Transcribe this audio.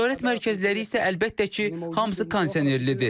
Ticarət mərkəzləri isə əlbəttə ki, hamısı kondisionerlidir.